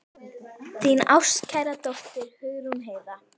Þín ástkæra dóttir, Hugrún Heiða.